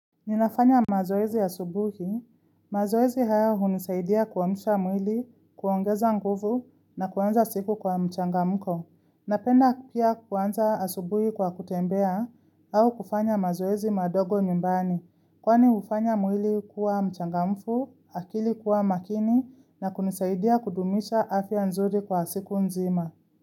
Ninafanya mazoezi asubuhi, mazoezi haya hunisaidia kuamsha mwili, kuongeza nguvu na kuanza siku kwa mchangamko. Napenda pia kuanza asubuhi kwa kutembea au kufanya mazoezi madogo nyumbani, kwani hufanya mwili kuwa mchangamfu, akili kuwa makini na kunisaidia kudumisha afya nzuri kwa siku nzima.